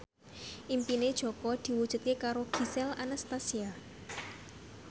impine Jaka diwujudke karo Gisel Anastasia